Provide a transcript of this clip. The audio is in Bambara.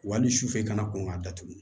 Wali sufɛ i kana kɔn ka datugu